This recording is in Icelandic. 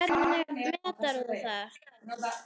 Hvernig meturðu það?